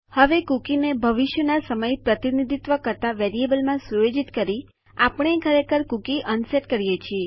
હવે કુકીને ભવિષ્યનો સમય પ્રતિનિધિત્વ કરતા વેરિયેબલમાં સુયોજિત કરી આપણે ખરેખર કૂકી અનસેટ કરીએ છે